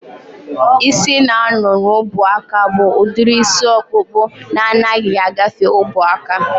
Ịsị na-anọ n'ubuaka bụ udiri isi ọkpụkpụ na anaghị agafe ubuaka